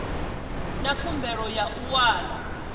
na khumbelo ya u wana